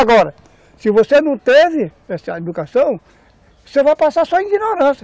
Agora, se você não teve essa educação, você vai passar só ignorância.